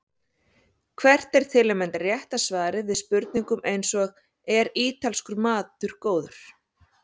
Hvert er til að mynda rétta svarið við spurningum eins og Er ítalskur matur góður?